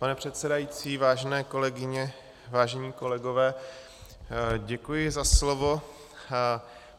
Pane předsedající, vážené kolegyně, vážení kolegové, děkuji za slovo.